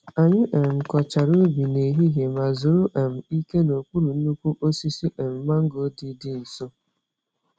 Anyị um kọchara ubi n’ehihie ma zuru um ike n’okpuru nnukwu osisi um mango dị dị nso.